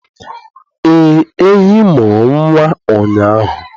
Ee, ehi mụrụ nwa ụnyahụ